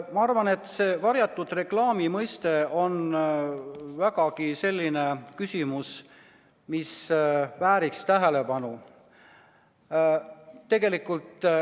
Ma arvan, et see varjatud reklaami mõiste on vägagi selline küsimus, mis vääriks tähelepanu.